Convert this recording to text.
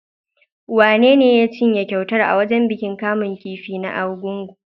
Wanene ya cinye kyautar a wajen bikin kamun kifi na Argungu?